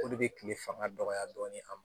Olu bɛ kile fanga dɔgɔya dɔɔnin a ma